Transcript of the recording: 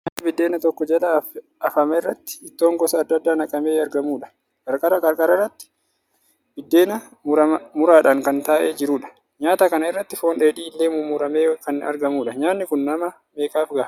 Nyaata buddeen tokko jala afamerratti ittoon gosa adda addaa naqamee argamudha. Qarqara qarqarattis buddeen muraadhan kan taa'ee jirudha. Nyaata kana irratti foon dheedhii illee murmuramee kan argamudha. Nyaanni kun nama meeqaaf gaha?